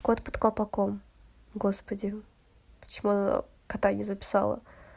кот под колпаком господи почему она кота не записала